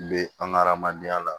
Be an ga hadamadenya la